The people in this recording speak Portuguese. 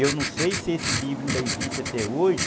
Eu não sei se esse livro ainda existe até hoje.